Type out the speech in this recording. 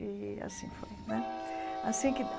E assim foi né assim que.